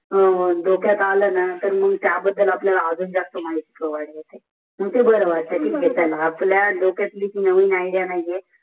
डोक्यात अल न तर त्या बदल आजस जास्त माहिती प्रोवेद होते कोतेही माहित प्रोविडे करो आपला डोक्यात नवीन इदेअल आण्याची आहे